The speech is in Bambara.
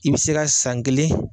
I bɛ se ka san kelen